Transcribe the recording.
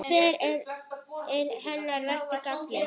Hver er hennar versti galli?